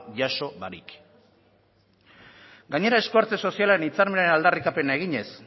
jaso barik gainera esku hartze sozialaren hitzarmenaren aldarrikapena eginez